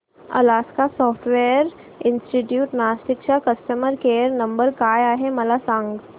Alaska software institute Nashik चा customer care number काय आहे मला सांग